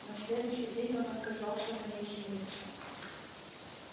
на следующий день он отказался на ней жениться